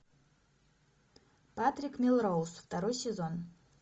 патрик мелроуз второй сезон